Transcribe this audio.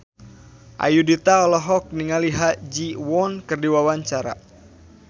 Ayudhita olohok ningali Ha Ji Won keur diwawancara